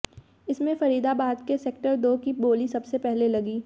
इसमें फरीदाबाद के सेक्टर दो की बोली सबसे पहले लगी